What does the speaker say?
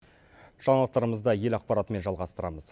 жаңалықтарымызды ел ақпаратымен жалғастырамыз